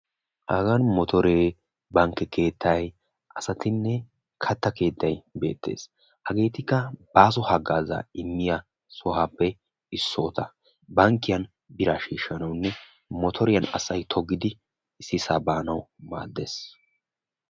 Haaga mootore, bankke keettay asattinne katta keettay beetees. Hageetikka aaho haagaza immiyagetta hagan bankke keettan miishsha minjjannawune qassikka motoriya toganawu maadees.